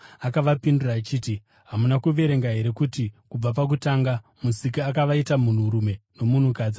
Akavapindura achiti, “Hamuna kuverenga here kuti kubva pakutanga Musiki akavaita munhurume nomunhukadzi,